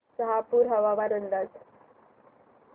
शहापूर हवामान अंदाज